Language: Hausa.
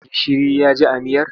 Gishiri ya ji a miyar?